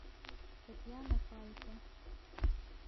татьяна фалько